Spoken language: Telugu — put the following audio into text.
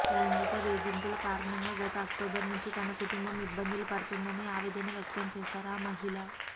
లైంగిక వేధింపుల కారణంగా గత అక్టోబర్ నుంచి తన కుటుంబం ఇబ్బందులు పడుతుందని ఆవేదన వ్యక్తం చేశారు ఆ మహిళ